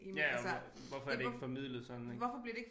Ja ja og og hvorfor er det ikke formidlet sådan ik